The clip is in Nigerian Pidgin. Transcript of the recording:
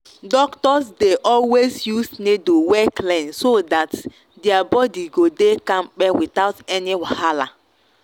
doctors dey always use needle wey clean so that their body go dey kampe without any wahala.